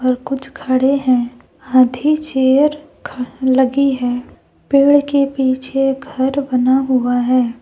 और कुछ खड़े हैं आधी चेयर ख लगी है पेड़ के पीछे घर बना हुआ है।